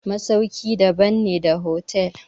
masauki daban ne da hotel.